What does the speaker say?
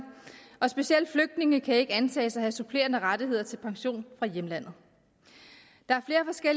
og specielt flygtninge kan ikke antages at have supplerende rettigheder til pension fra hjemlandet der